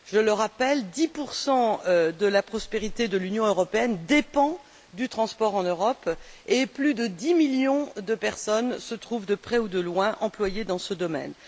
Je le rappelle 10 de la prospérité de l'Union européenne dépendent du transport en Europe et plus de 10 millions de personnes se trouvent de près ou de loin employées dans ce domaine.